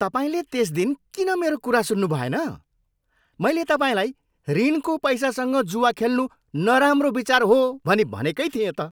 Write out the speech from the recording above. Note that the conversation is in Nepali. तपाईँले त्यस दिन किन मेरो कुरा सुन्नुभएन? मैले तपाईँलाई ऋणको पैसासँग जुवा खेल्नु नराम्रो विचार हो भनी भनेकै थिएँ त।